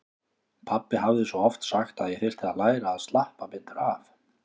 Pabbi hafði svo oft sagt að ég þyrfti að læra að slappa betur af.